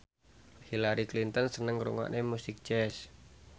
Hillary Clinton seneng ngrungokne musik jazz